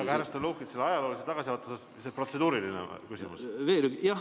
Aga, härra Stalnuhhin, kas selle ajaloolise tagasivaate taustal ka teie protseduuriline küsimus tuleb?